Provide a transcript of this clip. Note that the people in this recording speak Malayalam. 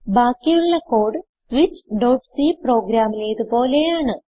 ബാക്കിയുള്ള കോഡ് switchസി പ്രോഗ്രാമിലേത് പോലെയാണ്